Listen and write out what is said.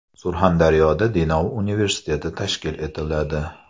Surxondaryoda Denov universiteti tashkil etiladi.